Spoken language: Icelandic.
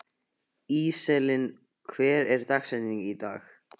Íselín, hver er dagsetningin í dag?